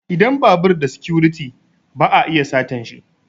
Idan babur da sikuriti ba a iya satanshi